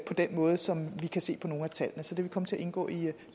den måde som vi kan se på nogle af tallene så det vil komme til at indgå i